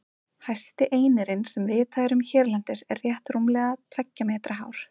Hæsti einirinn sem vitað er um hérlendis er rétt rúmlega tveggja metra hár.